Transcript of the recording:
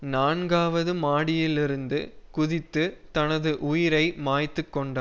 நான்காவது மாடியிலிருந்து குதித்து தனது உயிரை மாய்த்துக்கொண்ட